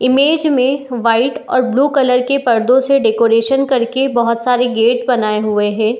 image में white और blue colour के पर्दों से डेकोरेशन करके बहोत सारे गेट बनाए हुए हैं |